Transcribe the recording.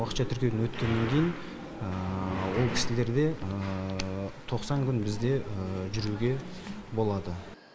уақытша тіркеуден өткеннен кейін ол кісілерде тоқсан күн бізде жүруге болады